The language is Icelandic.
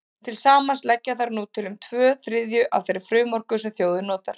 Til samans leggja þær nú til um tvo þriðju af þeirri frumorku sem þjóðin notar.